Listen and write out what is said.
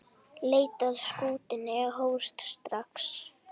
Leit að skútunni hófst strax.